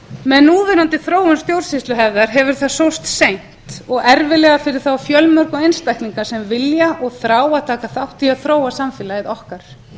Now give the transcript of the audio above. með núverandi þróun stjórnsýsluhefðar hefur það sóst seint og erfiðlega fyrir þá fjölmörgu einstaklinga sem vilja og þrá að taka þátt í þróa samfélagið okkar